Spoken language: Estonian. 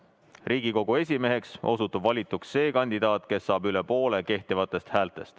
Riigikogu esimeheks valituks osutub see kandidaat, kes saab üle poole kehtivatest häältest.